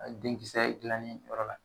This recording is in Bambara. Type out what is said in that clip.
Denkisɛ dilani yɔrɔ la